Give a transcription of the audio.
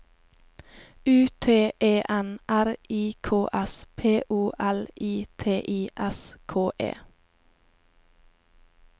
U T E N R I K S P O L I T I S K E